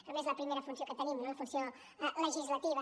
a més és la primera funció que tenim no la funció legislativa